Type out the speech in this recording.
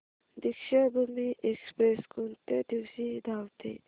Deekshabhoomi express कोणत्या दिवशी धावते